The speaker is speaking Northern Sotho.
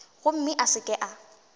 gomme a se ke a